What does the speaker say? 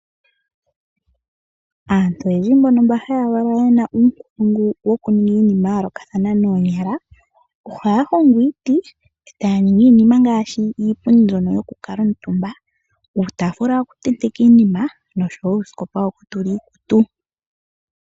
Aantu oyendji mbono haya valwa ye na uunkulungu wokuninga iinima ya yoolokathana noonyala . Ohaya hongo iiti, e taya ningi iinima ngaashi iipundi mbyoka yokukuutumba, uutaafula wokutenteka iinima noshowo uusikopa wokutula iikutu.